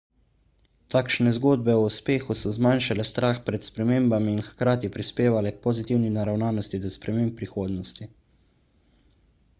takšne zgodbe o uspehu so zmanjšale strah pred spremembami in hkrati prispevale k pozitivni naravnosti do sprememb v prihodnosti